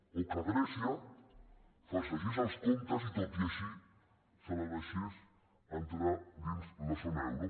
o que grècia falsegés els comptes i tot així se la deixes entrar dins la zona euro